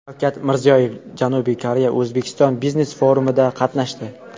Shavkat Mirziyoyev Janubiy Koreya O‘zbekiston biznes-forumida qatnashdi.